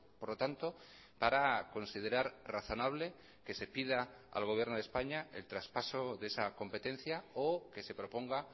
por lo tanto para considerar razonable que se pida al gobierno de españa el traspaso de esa competencia o que se proponga